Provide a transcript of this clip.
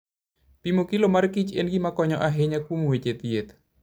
Pimo kilo mar kich en gima konyo ahinya kuom weche thieth.